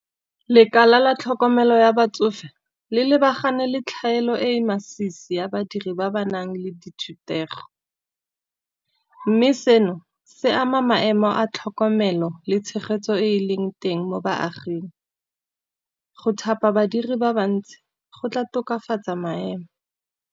Lekala la tlhokomelo ya batsofe le lebagane le tlhaelo e e masisi ya badiri ba ba nang le dithutego. Mme seno se ama maemo a tlhokomelo le tshegetso e leng teng mo baaging, go thapa badiri ba bantsi go tla tokafatsa maemo.